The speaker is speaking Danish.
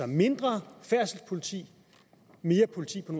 mindre færdselspoliti og mere politi på